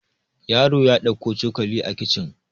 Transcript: yaro ya dauko cokali a kicin